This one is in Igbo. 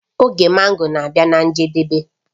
Oge mango na-abịa na njedebe